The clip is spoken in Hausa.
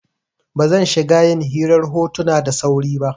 Ba zan shiga yin hirar hotuna da sauri ba.